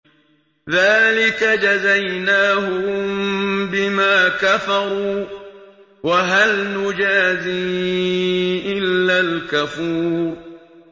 ذَٰلِكَ جَزَيْنَاهُم بِمَا كَفَرُوا ۖ وَهَلْ نُجَازِي إِلَّا الْكَفُورَ